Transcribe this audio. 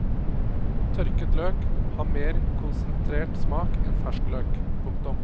Tørket løk har mer konsentrert smak enn fersk løk. punktum